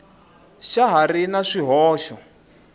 xa ha ri na swihoxo